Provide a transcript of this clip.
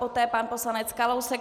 Poté pan poslanec Kalousek.